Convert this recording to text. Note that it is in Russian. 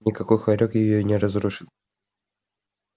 никакой хорёк её и не разрушит